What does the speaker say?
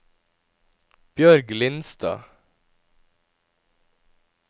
Bjørg Lindstad